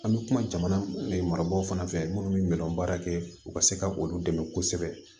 An bɛ kuma jamana marabaaw fana fɛ minnu bɛ ɲɛ baara kɛ u ka se ka olu dɛmɛ kosɛbɛ